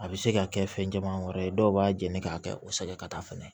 A bɛ se ka kɛ fɛn caman wɛrɛ ye dɔw b'a jeni k'a kɛ o sɛgɛn ka taa fɛnɛ